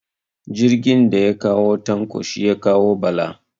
Jirgin daya kawo Tanko shi ya kawo Bala